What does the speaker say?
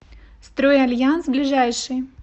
стройальянс ближайший